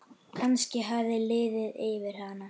Kannski hafði liðið yfir hana.